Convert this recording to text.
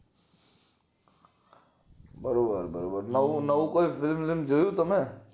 ખરીવાત વાત છે નવું નવું કયું ફિલ્મ વિલ્મ જોયું ક ન